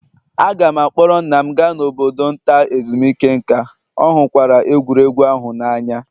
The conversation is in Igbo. Aga m a kpọọrọ nna m gaa n'obodo nta ezumike nka, ọ hụkwara egwuregwu ahụ n'anya